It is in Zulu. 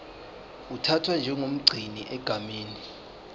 uthathwa njengomgcini egameni